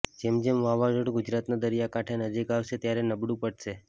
જેમ જેમ વાવાઝોડું ગુજરાતના દરિયા કાંઠે નજીક આવશે ત્યારે નબળું પડશે